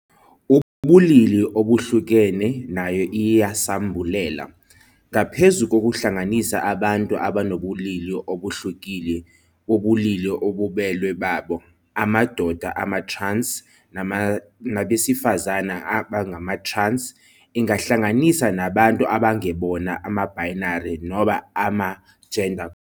Ubulili obuhlukene nayo iyisambulela, ngaphezu kokuhlanganisa abantu abanobulili obuhlukile bobulili obubelwe babo, amadoda ama-trans nabesifazane abangama-trans, ingahlanganisa nabantu abangebona ama-binary noma ama-gender.